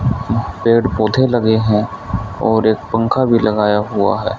पेड़ पौधे लगे हैं और एक पंखा भी लगाया हुआ है।